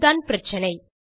அதுதான் பிரச்சினை